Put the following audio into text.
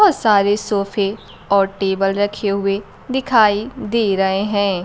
बहुत सारे सोफे और टेबल रखे हुए दिखाई दे रहे हैं।